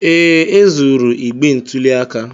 Ee, e zuru igbe ntụli aka.